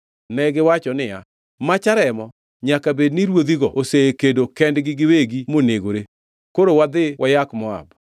Negiwacho niya, “Macha remo! Nyaka bed ni ruodhigo osekedo kendgi giwegi monegore. Koro wadhi wayak Moab!”